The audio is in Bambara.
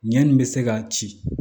Ɲɛni bɛ se ka ci